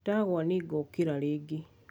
ndagwa nĩngĩkĩra rĩngĩ